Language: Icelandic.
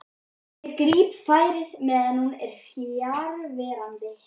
Ég gríp færið meðan hún er fjarverandi.